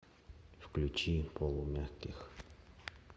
включи полумягких